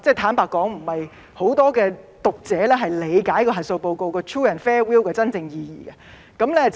坦白說，不是很多讀者理解核數報告 true and fair view 的真正意義。